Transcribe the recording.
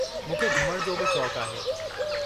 मूंखे घुमण जो बि शौक़ु आहे।